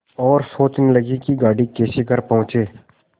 और सोचने लगे कि गाड़ी कैसे घर पहुँचे